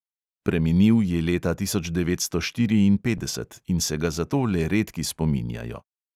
Preminil je leta tisoč devetsto štiriinpetdeset in se ga zato le redki spominjajo.